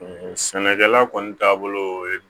Sɛnɛkɛla kɔni taabolo ye